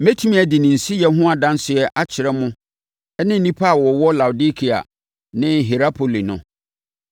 Mɛtumi adi ne nsiyɛ ho adanseɛ akyerɛ mo ne nnipa a wɔwɔ Laodikea ne Hierapoli no.